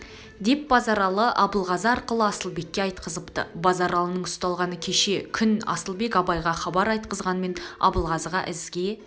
деп базаралы абылғазы арқылы асылбекке айтқызыпты базаралының ұсталғаны кешегі күн асылбек абайға хабар айтқызғанмен абылғазыға ізге